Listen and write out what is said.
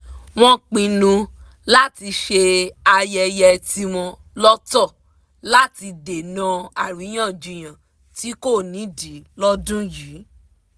wọ́n pinnu láti ṣe ayẹyẹ tíwọn lọ́tọ̀ láti dènà àríyànjiyàn tí kò nídìí lọ́dún yìí